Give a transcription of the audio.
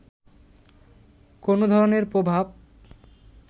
কোনো ধরনের প্রভাব